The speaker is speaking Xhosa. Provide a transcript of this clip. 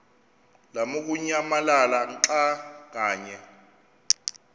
lamukunyamalala xa kanye